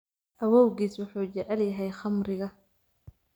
Awowgiis wuxuu jecel yahay khamriga